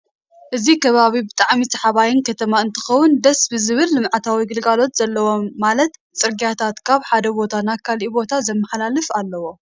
እዚ ከባቢ ብጣዕሚ ሰሓባይን ከተማ እንትከውን ደስ ብዝብል ልመዓታዊ ግልጋሎት ዘለዎ ማለት ፅርግያታት ካብ ሓደ ቦታ ናብ ካሊእ ቦታ ዘመሓላልፍ ኣለው።